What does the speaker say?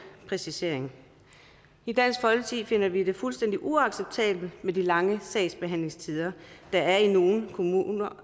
præcisering i dansk folkeparti finder vi det fuldstændig uacceptabelt med de lange sagsbehandlingstider der er i nogle kommuner